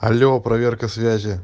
алло проверка связи